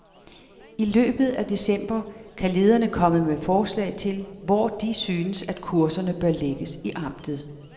I løbet af december kan lederne komme med forslag til, hvor de synes, at kurserne bør lægges i amtet.